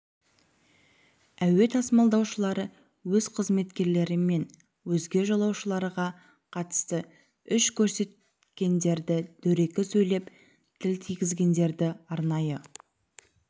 әуе тасымалдаушылары өз қызметкерлері мен өзге жолаушыларға қатысты күш көрсеткендерді дөрекі сөйлеп тіл тигізгендерді арнайы